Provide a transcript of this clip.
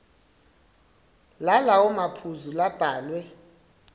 lalawo maphuzu labhalwe